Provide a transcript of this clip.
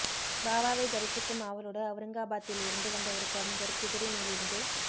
பாபாவை தரிசிக்கும் ஆவலோடு அவுரங்காபாத்தில்இருந்து வந்த ஒரு பிரமுகர் குதிரை மேலிருந்து